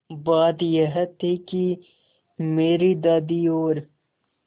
बात यह थी कि मेरी दादी और